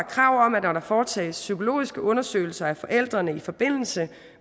krav om at når der foretages psykologiske undersøgelser af forældrene i forbindelse